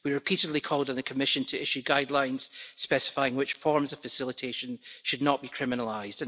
We repeatedly called on the Commission to issue guidelines specifying which forms of facilitation should not be criminalised.